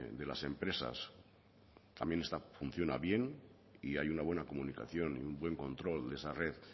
de las empresas también funciona bien y hay una buena comunicación y un buen control de esa red